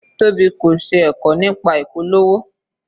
Tobi kò ṣe ẹ̀kọ́ nípa ìpolówó.